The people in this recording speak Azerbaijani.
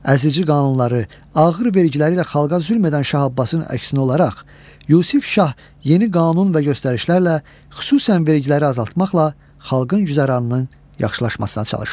Əzici qanunları, ağır vergiləri ilə xalqa zülm edən Şah Abbasın əksinə olaraq, Yusif Şah yeni qanun və göstərişlərlə xüsusən vergiləri azaltmaqla xalqın güzəranının yaxşılaşmasına çalışır.